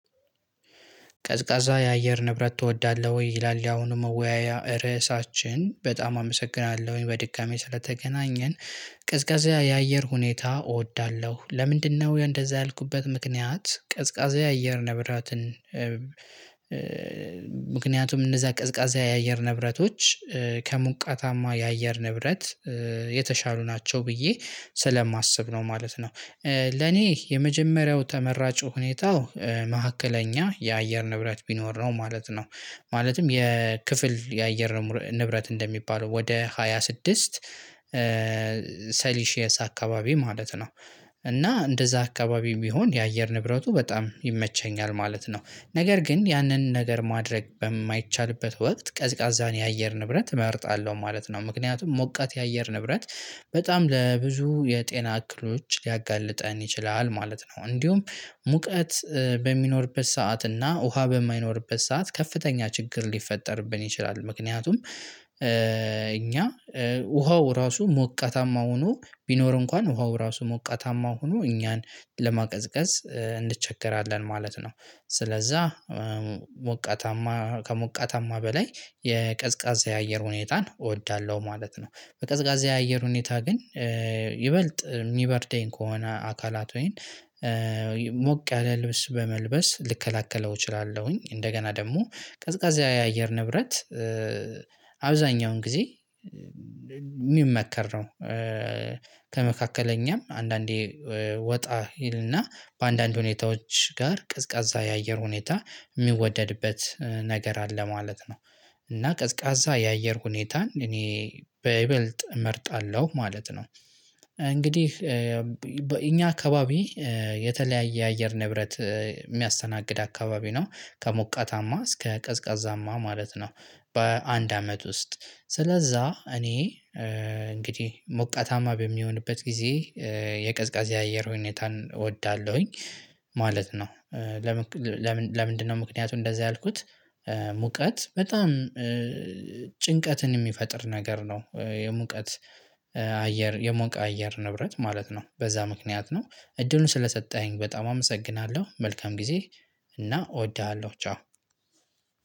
ቀዝቃዛ የአየር ንብረት እወዳለሁ ይላል ያሁኑ መወያያ ርዕሳችን በጣም አመሰግናለሁ በድጋሚ ስለተገናኘን። ቅዝቃዜ የአየር ሁኔታ እወዳለሁ ለምንድነው እንደዛ ያልኩበት ምክንያት ቀዝቃዛ የአየር ንብረትን? ምክንያቱም እነዛ ቀዝቃዛ የአየር ንብረቶች ከሙቀታማ የአየር ንብረት የተሻሉ ናቸው ብዬ ስለማስብ ነው ማለት ነው። ለኔ የመጀመሪያው ተመራጩ ሁኔታው መሃከለኛ የአየር ንብረት ቢኖር ነው ማለት ነው። ማለትም የክፍል የአየር ንብረት እንደሚባለው ወደ ሃያ ስድስት ሰሊሺየስ አካባቢ ማለት ነው። እና እንደዛ አካባቢ ቢሆን የአየር ንብረቱ በጣም ይመቸኛል ማለት ነው። ነገር ግን ያንን ነገር ማድረግ በማይቻልበት ወቅት ቀዝቃዛን የአየር ንብረት እመርጣለሁ ማለት ነው። ምክንያቱም ሞቃት የአየር ንብረት በጣም ለብዙ የጤና እክሎች ሊያጋልጠን ይችላል ማለት ነው። እንዲሁም ሙቀት በሚኖርበት ሰዓት እና ውሃ በማይኖርበት ሰዓት ከፍተኛ ችግር ሊፈጠርብን ይችላል። ምክንያቱም እኛ ውሃው ራሱ ሞቃታማ ሆኖ ቢኖር እንኳን ውሃው ራሱ ሞቃታማ ሆኖ እኛን ለማቀዝቀዝ እንቸገራለን ማለት ነው። ስለዛ ሞቃታማ ከሞቃታማ በላይ የቀዝቃዛ የአየር ሁኔታን እወዳለሁ ማለት ነው። በቀዝቃዛ የአየር ሁኔታ ግን ይበልጥ የሚበርደኝ ከሆነ አካላት ወይን ሞቅ ያለ ልብስ በመልበስ ልከላከለው እችላለሁኝ። እንደገና ደግሞ ቀዝቃዛ የአየር ንብረት አብዛኛውን ጊዜ ሚመከር ነው። ከመካከለኛም አንዳንዴ ወጣ ይልና በአንዳንድ ሁኔታዎች ጋር ቀዝቃዛ የአየር ሁኔታ የሚወደድበት ነገር አለ ማለት ነው። እና ቀዝቃዛ የአየር ሁኔታን እኔ በይበልጥ እመርጣለሁ ማለት ነው። እንግዲህ እኛ አካባቢ የተለያየ የአየር ንብረት የሚያስተናግድ አካባቢ ነው ከሞቃታማ እስከ ቀዝቃዛማ ማለት ነው። በአንድ አመት ውስጥ ስለዛ እኔ እንግዲህ ሞቃታማ በሚሆንበት ጊዜ የቀዝቃዜ አየር ሁኔታን እወዳለሁኝ ማለት ነው። ለምን ለምንድነው? ምክንያቱም እንደዛ ያልኩት ሙቀት በጣም ጭንቀትን የሚፈጥር ነገር ነው የሙቀት አየር የሞቀ አየር ንብረት ማለት ነው በዛ ምክንያት ነው። እድሉን ስለሰጠሀኝ በጣም አመሰግናለሁ መልካም ጊዜ እና እወድሃለሁ ቻው።